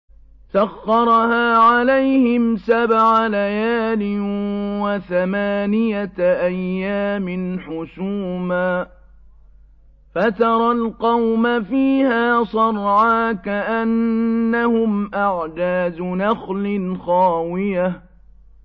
سَخَّرَهَا عَلَيْهِمْ سَبْعَ لَيَالٍ وَثَمَانِيَةَ أَيَّامٍ حُسُومًا فَتَرَى الْقَوْمَ فِيهَا صَرْعَىٰ كَأَنَّهُمْ أَعْجَازُ نَخْلٍ خَاوِيَةٍ